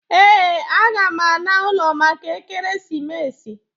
Ee, aga m ana ụlọ maka ekeresimesi